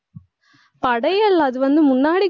படையல், அது வந்து முன்னாடி